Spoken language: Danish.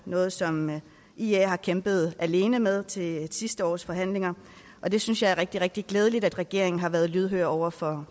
noget som ia har kæmpet alene med til sidste års forhandlinger det synes jeg er rigtig rigtig glædeligt at regeringen har været lydhør over for